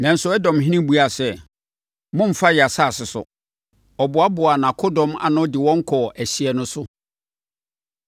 Nanso Edomhene buaa sɛ, “Mommfa yɛn asase so!” Ɔboaboaa nʼakodɔm ano de wɔn kɔɔ ɛhyeɛ no so.